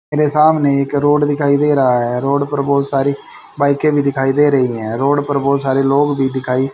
मेरे सामने एक रोड दिखाई दे रहा है। रोड पर बहोत सारी बाइके भी दिखाई दे रही है। रोड पर बहोत सारे लोग भी दिखाई --